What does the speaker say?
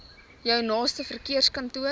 jou naaste verkeerskantoor